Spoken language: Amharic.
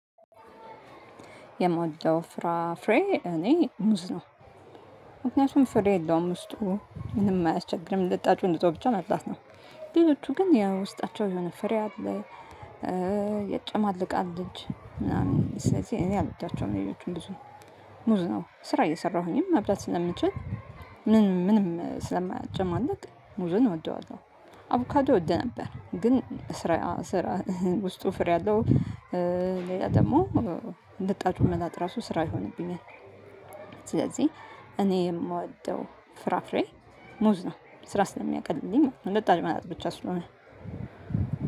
የምውደው ፍራፍሬ እኔ ሙዝ ነው። ምክንያቱም ፍሬ የለውም ውስጡ ምንም አያስቸግርም ልጣጩን ልጦ ብቻ መብላት ነው። ሌሎቹ ግን ያ ውስጣቸው የሆነ ፍሬ አለ። ያጨማልቃል እጅ ምናምን ስለዚህ እኔ አልወዳቸውም። ሌሎቹን ብዙ ሙዝ ነው ስራ እየሰራሁኝም መብላት ስለምንችል ምንም ስለማያጨማልቅ ሙዝን እወደዋለሁ። አቮካዶ እወድ ነበር ግን ስራ ውስጡ ፍሬ አለው። ሌላ ደግሞ ልጣጩን መላጥ ራሱ ስራ ይሆንብኛል። ስለዚህ እኔ የምወደው ፍራፍሬ ሙዝ ነው። ስራ ስለሚያቀልልኝ ልጣጭ መላጥ ብቻ ስለሆነ።